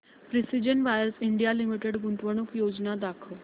precision wires India limited गुंतवणूक योजना दाखव